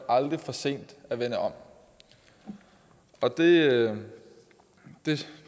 aldrig for sent at vende om og det